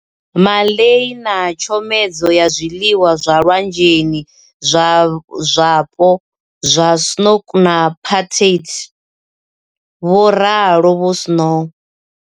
Ma lay na tshenzhemo ya zwiḽiwa zwa lwanzheni zwapo zwa Snoek na Patat, vho ralo Vho Shaw.